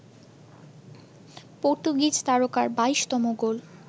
Portuguese তারকার ২২তম গোল